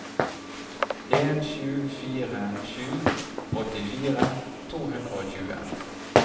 en sju fire sju åttifire to hundre og tjue